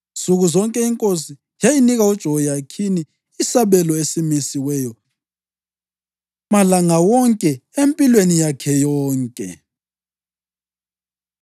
Nsuku zonke inkosi yayinika uJehoyakhini isabelo esimisiweyo malanga wonke, empilweni yakhe yonke.